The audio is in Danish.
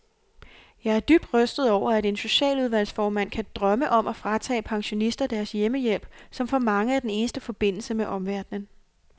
Jeg er dybt rystet over, at en socialudvalgsformand kan drømme om at fratage pensionister deres hjemmehjælp, som for mange er den eneste forbindelse med omverdenen.